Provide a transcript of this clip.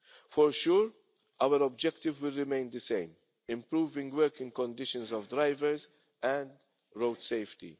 For sure, our objective will remain the same improving the working conditions of drivers and road safety.